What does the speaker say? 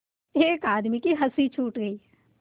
एक आदमी की हँसी छूट गई